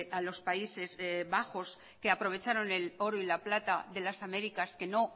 a los países bajos que aprovecharon el oro y la plata de las américas que no